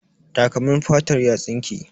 Takalmin fatar ya tsinke.